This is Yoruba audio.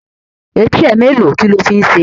Etí ẹ mẹ́ẹ́lo? Kílo fi ń ṣe?